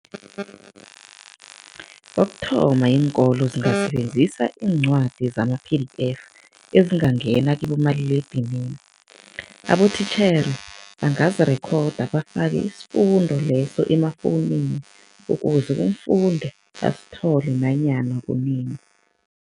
Kokuthoma, iinkolo zingasebenzisa iincwadi zama-P_D_F ezingangena kibomaliledinini. Abotitjhere bangazirekhoda bafake isifundo leso emafowunini ukuze umfundi asithole nanyana kunini.